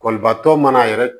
Kɔlibatɔ mana yɛrɛ